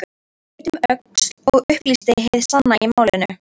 Leit um öxl og upplýsti hið sanna í málinu